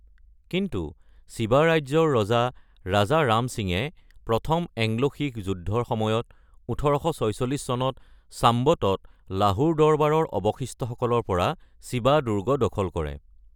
কিন্তু, ছিবা ৰাজ্যৰ ৰজা ৰাজা ৰাম সিঙে প্ৰথম এংলো-শিখ যুদ্ধৰ সময়ত ১৮৪৬ চনত সাম্ৱতত লাহোৰ দৰবাৰৰ অৱশিষ্টসকলৰ পৰা চিবা দুৰ্গ দখল কৰে।